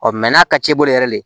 Ɔ mɛ n'a ka c'i bolo yɛrɛ de